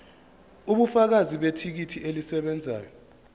ubufakazi bethikithi elisebenzayo